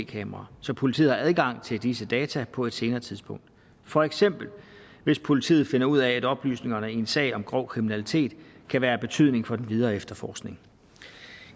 kameraer så politiet har adgang til disse data på et senere tidspunkt for eksempel hvis politiet finder ud af at oplysningerne i en sag om grov kriminalitet kan være af betydning for den videre efterforskning